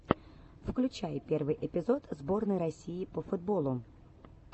включай первый эпизод сборной россии по футболу